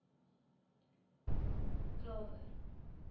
klawer